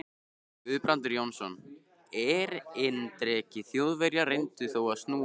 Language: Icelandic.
Guðbrandur Jónsson, erindreki Þjóðverja, reyndi þá að snúa á